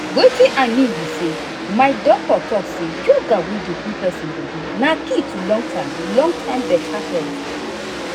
watin i mean be say my doctor talk say yoga wey dey cool person body na key to long-term long-term better health.